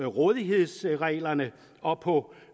rådighedsreglerne og på